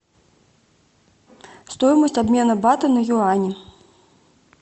стоимость обмена бата на юани